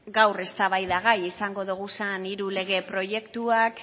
gaur eztabaidagai izango ditugun hiru lege proiektuak